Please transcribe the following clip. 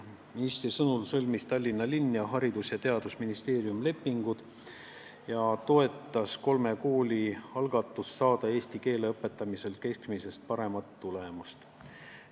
Ministri sõnul sõlmisid Tallinna linn ja Haridus- ja Teadusministeerium lepingud ning toetati kolme kooli algatust saada eesti keele õpetamisel keskmisest paremat tulemust.